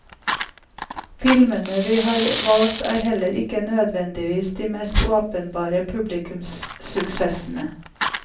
Filmene vi har valgt er heller ikke nødvendigvis de mest åpenbare publikumssuksessene.